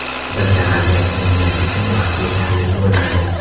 Bizda vaziyatni o‘nglash uchun vaqt yetarli bo‘lmadi.